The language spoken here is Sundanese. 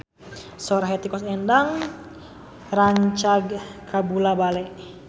Sora Hetty Koes Endang rancage kabula-bale